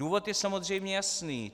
Důvod je samozřejmě jasný.